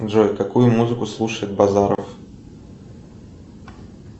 джой какую музыку слушает базаров